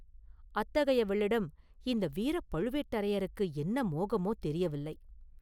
அத்தகையவளிடம் இந்த வீரப் பழுவேட்டரையருக்கு என்ன மோகமோ தெரியவில்லை.